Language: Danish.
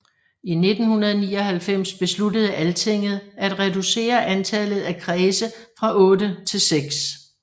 I 1999 besluttede Altinget at reducere antallet af kredse fra otte til seks